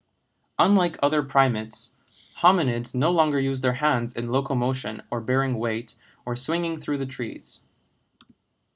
unlike other primates hominids no longer use their hands in locomotion or bearing weight or swinging through the trees